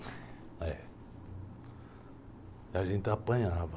Eh, a gente apanhava.